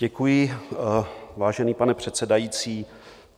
Děkuji, vážený pane předsedající.